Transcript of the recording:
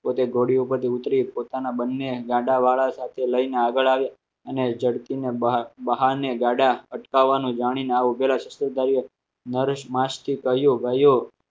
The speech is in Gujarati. પોતે ઘોડી ઉપર થી ઉતરી પોતાના બંને ગાડાવાળા સાથે લઈને આગળ આવે અને ઝડપીને ગાડા અટકાવવાનું જાણી ને આવું નરેશ માસથી કહ્યું ગયો.